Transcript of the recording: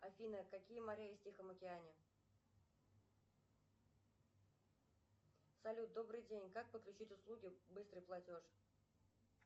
афина какие моря есть в тихом океане салют добрый день как подключить услуги быстрый платеж